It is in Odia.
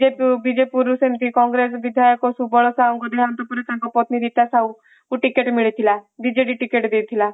ବିଜେଡିରୁ ସେମିତି କଂଗ୍ରେସ ବିଧାୟକ ସୁବଳ ସାହୁଙ୍କ ଦେହାନ୍ତ ପରେ ତାଙ୍କ ପତ୍ନୀ ଗୀତା ସାହୁଙ୍କୁ ଟିକେଟ ମିଳିଥିଲା ବିଜେପି ଟିକେଟ ଦେଇଥିଲା